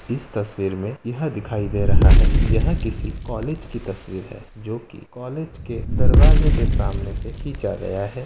इस तस्वीर में यह दिखाई दे रहा है कि यह किसी कॉलेज की तस्वीर है जो कि कॉलेज की दरवाजे के सामने से खींचा गया है।